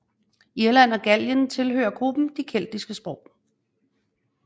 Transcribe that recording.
Irland og Gallien tilhører gruppen de keltiske sprog